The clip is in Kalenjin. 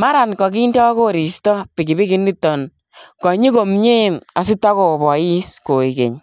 maraan kakindaa koristoi pikipiki initoon konyii komyei asitakobois koek keeny .